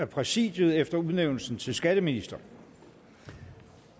præsidiet efter udnævnelsen til skatteminister